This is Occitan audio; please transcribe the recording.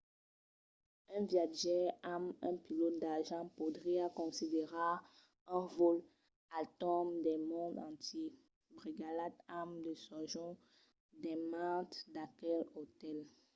un viatjaire amb un pilòt d'argent podriá considerar un vòl al torn del mond entièr brigalhat amb de sojorns dins mantes d’aqueles otèls